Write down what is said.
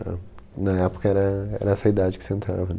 Na época era era essa idade que você entrava.